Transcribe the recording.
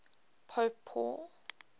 pope paul